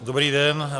Dobrý den.